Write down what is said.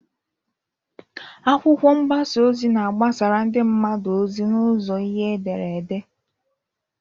Akwụkwọ mgbasa ozi na-agbasara ndị mmadụ ozi n'ụzọ ihe edere ede.